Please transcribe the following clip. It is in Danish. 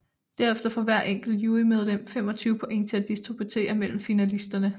Derefter får hvert enkelt jurymedlem 25 point til at distribuere mellem finalisterne